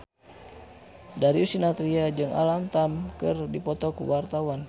Darius Sinathrya jeung Alam Tam keur dipoto ku wartawan